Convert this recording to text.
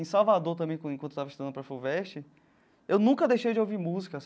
Em Salvador também, quando enquanto eu estava estando para a FUVEST, eu nunca deixei de ouvir música.